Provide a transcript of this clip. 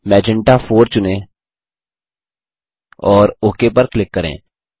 magenta 4 चुनें और OK पर क्लिक करें